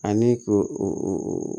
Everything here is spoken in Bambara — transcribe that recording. Ani k'o o